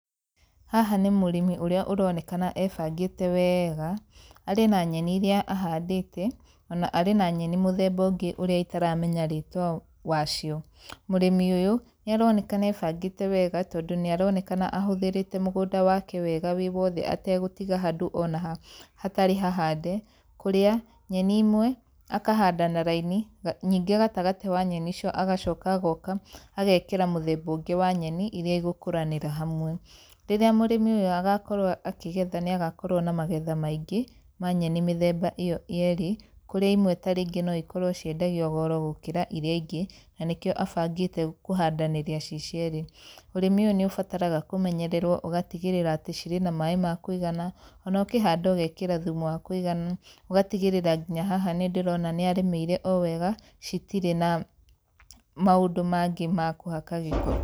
Haha nĩ mũrĩmi ũrĩa ũronekana e bangĩte wega. Arĩ na nyeni irĩa ahandĩte ona arĩ na nyeni mũthemba ũngĩ ũrĩa itaramenya rĩtũa wacio. Mũrĩmi ũyũ, nĩ aronekana e bangĩte wega tondũ nĩ aronekana ahũthĩrĩte mũgũnda wake wega wĩ wothe ategũtiga handũ ona ha, hatarĩ hahande, kũrĩa nyeni imwe, akahanda na raini, nyingĩ gatagatĩ wa nyeni icio agocoka agoka agekĩra mũthemba ũngĩ wa nyeni irĩa igũkũranĩra hamwe. Rĩrĩa mũrĩmi ũyũ agakorwo akĩgetha nĩ agakorwo na magetha maingĩ, ma nyeni mĩthemba ĩyo yerĩ. Kũrĩ imwe ta rĩngĩ no ikorwo ciendagio goro gũkĩra irĩa ingĩ, na nĩkĩo abangĩte kũhandanĩria ci cierĩ. Ũrĩmi ũyũ nĩ ũbataraga kũmenyererwo ũgatigĩrĩra atĩ cĩrĩ na maĩ ma kũigana, ona ũkihanda ũgekĩra thumu wa kũigana. Ũgatigĩrĩra ginya haha nĩ ndĩrona nĩ arĩmĩire o wega, citirĩ na, maũndũ mangĩ ma kũhaka gĩko.